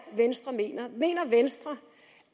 venstre mener mener venstre